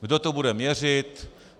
Kdo to bude měřit?